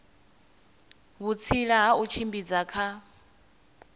vhutsila ha u tshimbidza kha